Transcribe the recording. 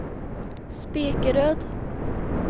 Spekeröd